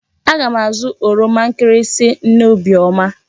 Aga m azụ oroma nkịrịsị nne Obiọma.